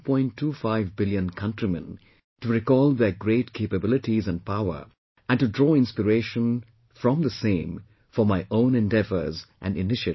25 billion countrymen, to recall their great capabilities and power and to draw inspiration from the same for my own endeavours and initiatives